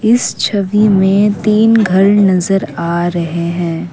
इस छवि मे तीन घर नजर आ रहे हैं।